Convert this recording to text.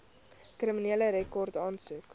kriminele rekord aansoek